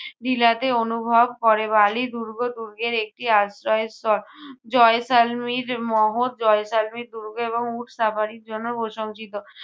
বিলাতে অনুভব করে বালি দুর্গ-দুর্গের একটি আশ্রয় স্তর জয়সালমীর মহৎ জয়সালমীর দুর্গ এবং উট safari র জন্য প্রশংসিত।